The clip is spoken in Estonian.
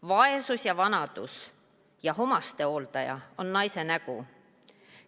Vaesus ja vanadus ja omastehooldus on naise nägu.